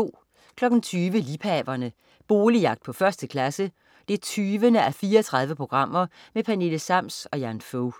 20.00 Liebhaverne. Boligjagt på 1. klasse 20:34. Pernille Sams og Jan Fog